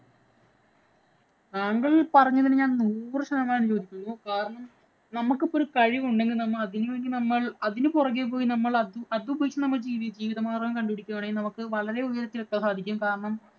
താങ്കള്‍ പറഞ്ഞതിന് ഞാന്‍ നൂറ് ശതമാനം യോജിക്കുന്നു. കാരണം നമ്മള്‍ക്ക് ഇപ്പം ഒരു കഴിവ് ഉണ്ടെങ്കിൽ നമ്മള്‍ അതിനു വേണ്ടി നമ്മള്‍ അതിനു പുറകെ പോയി നമ്മൾ അതുപയോഗിച്ചു ജീവിതമാര്‍ഗ്ഗം കണ്ടുപിടിക്കുകയാണെങ്കില്‍ നമുക്ക് വളരെ ഉയരത്തില്‍ എത്താന്‍ സാധിക്കും. കാരണം,